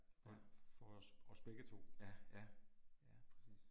Ja. Ja, ja. Ja præcis